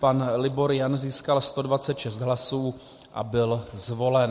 Pan Libor Jan získal 126 hlasů a byl zvolen.